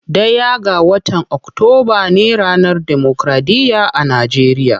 Ɗaya ga watan octoba ne ranar democraɗiya a nageriya.